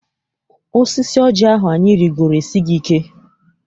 Osisi oji ahụ anyị rigoro esighị ike.